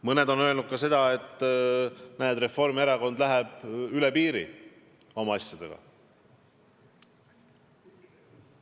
Mõned on öelnud ka seda, et Reformierakond läheb üle piiri oma asjadega.